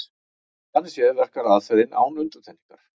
Þannig séð verkar aðferðin án undantekningar.